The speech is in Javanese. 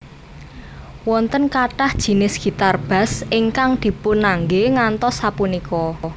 Wonten kathah jinis gitar bass ingkang dipunangge ngantos sapunika